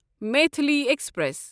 Maithili express